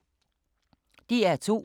DR2